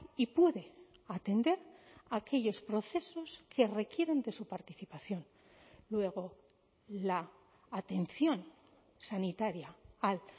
y puede atender aquellos procesos que requieren de su participación luego la atención sanitaria al